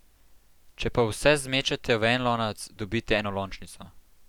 Če pa vse zmečete v en lonec, dobite enolončnico.